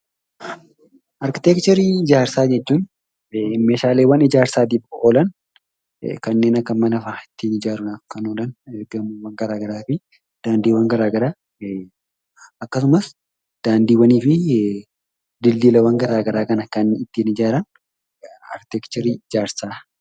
Arkiteekcharii ijaarsa jechuun meshalee ijaarsaaf olaan kannen akka manaffaa itti ijaruudhaaf kan olaan, gamoowwan gara garaafi dandiiwwan gara garaa akkasumaas dandiwwanifi dildillawwan gara garaa ittin ijraan arkiteekcherii ijaarsa.